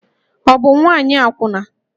Ọ bụ nwaanyị akwụna?